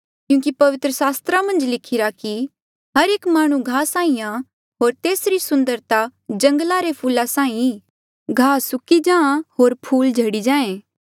क्यूंकि पवित्र सास्त्रा मन्झ लिखिरा कि हर एक माह्णुं घाहा साहीं आं होर तेसरी सुन्दरता जंगला रे फूला साहीं ईं घाह सुक्की जाहाँ होर फूल झड़ी जाहें